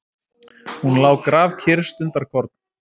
Hún lá grafkyrr stundarkorn.